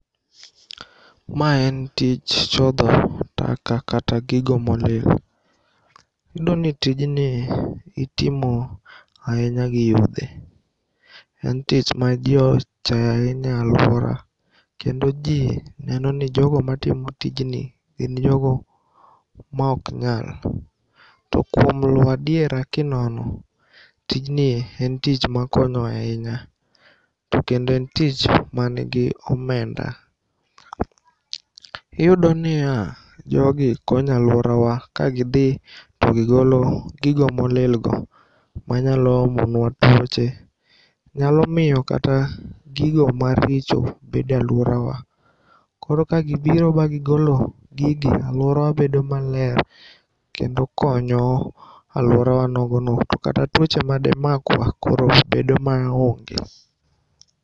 Ma en tich chodho taka kata gigo molil. Iyudoni tijni itimo ainya gi yudhe. En tich ma jii ochayo ainya e aluora kendo jii nenoni jogo matimo tijni gin jogo ma oknyal. To kuom luo adiera kinono tijnie en tich makonyo ainya. To kendo en tich manigi omenda. Iyudo niya jogi konyo aluorawa kagidhi togigolo gigo molil go manyalo omo nwa tuoche .Nyalo miyo kata gigo maricho okbede aluorawa. Koro kagibiro ba gigolo gigi alworawa bedo maler kendo konyo aluorawa nogono to kata tuoche mademakwa koro bedo maonge.